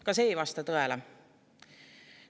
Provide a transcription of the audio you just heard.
Ka see ei vasta tõele.